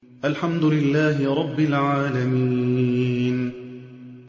الْحَمْدُ لِلَّهِ رَبِّ الْعَالَمِينَ